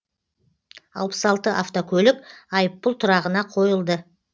алпыс алты автокөлік айыппұл тұрағына қойылды